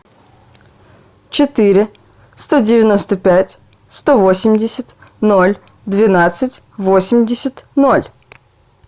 четыре сто девяносто пять сто восемьдесят ноль двенадцать восемьдесят ноль